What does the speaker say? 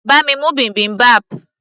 bá mi mú bibimbap